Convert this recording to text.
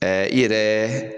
Ɛ i yɛrɛ